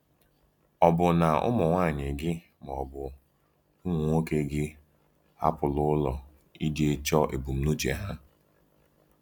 Ọ̀ bụ na ụmụnwaanyị gị ma ọ bụ ụmụ nwoke gị hapụla ụlọ iji chọọ ebumnuche ha?